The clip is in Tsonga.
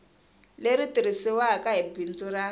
leri tirhisiwaku hi bindzu ra